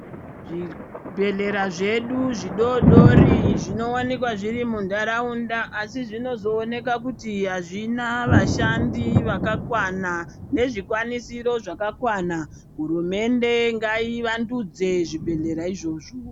Zvibhehlera zvidu zvidodori zvinowanikwa zviri muntaraunda asi zvinozoneka kuti azvina vashandi vakakwana nezvikwanisiro zvakakwana hurumende ngaivandudze zvibhehlera izvozvo.